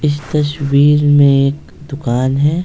इस तस्वीर में एक दुकान है।